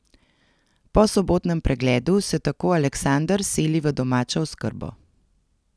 Po sobotnem pregledu se tako Aleksander seli v domačo oskrbo.